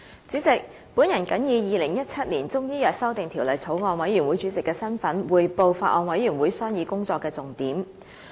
主席，我謹以《2017年中醫藥條例草案》委員會主席的身份，匯報法案委員會商議工作的重點。